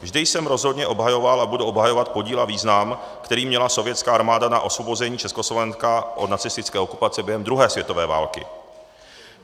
Vždy jsem rozhodně obhajoval a budu obhajovat podíl a význam, který měla sovětská armáda na osvobození Československa od nacistické okupace během druhé světové války.